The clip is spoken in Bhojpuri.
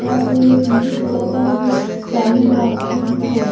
ता फिर टी.वी चलता जो चालू बा टी.वी ठो।